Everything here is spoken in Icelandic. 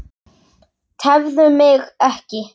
Tefðu mig ekki.